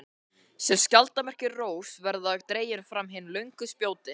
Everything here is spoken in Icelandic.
sem skjaldarmerki rógs verða dregin fram hin löngu spjótin.